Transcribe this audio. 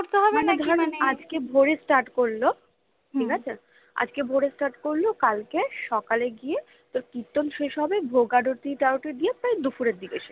আজকে ভোরে start করলো ঠিক আছে আজকে ভোরে start করলো কালকে সকালে গিয়ে কীর্তন শেষ হবে ভোগ-আরতি তারতি দিয়ে প্রায় দুপুরের দিকে শেষ